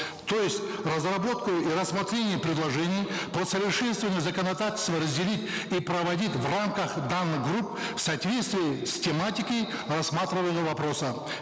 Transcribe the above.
то есть разработку и рассмотрение предложений по усовершенствованию законодательства разделить и проводить в рамках данных групп в соответствии с тематикой рассматриваемого вопроса